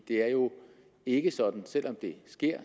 det er jo ikke sådan selv om det sker